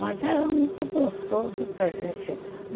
Mas era muito gostoso para a gente.